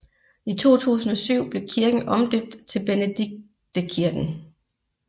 I 2007 blev kirken omdøbt til Benediktekirken